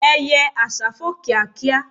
eye àsá fò kíákíá